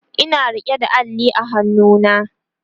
Ina rike da Alli a hannuna